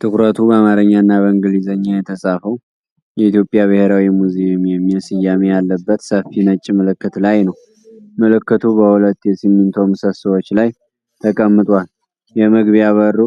ትኩረቱ በአማርኛና በእንግሊዘኛ የተጻፈው "የኢትዮጵያ ብሔራዊ ሙዚየም" የሚል ስያሜ ያለበት ሰፊ ነጭ ምልክት ላይ ነው። ምልክቱ በሁለት የሲሚንቶ ምሰሶዎች ላይ ተቀምጧል፣ የመግቢያ በሩ